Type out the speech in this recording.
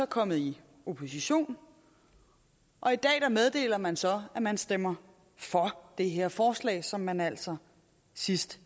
kommet i opposition og i dag meddeler man så at man stemmer for det her forslag som man altså sidst